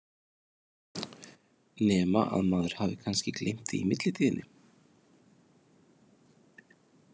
Nema að maður hafi kannski gleymt því í millitíðinni?